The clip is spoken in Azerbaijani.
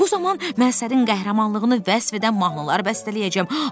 Bu zaman mən sənin qəhrəmanlığını vəsf edən mahnılar bəstələyəcəm.